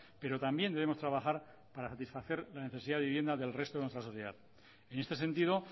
pero también debemos trabajar para satisfacer la necesidad de vivienda del resto de nuestra sociedad y en este sentido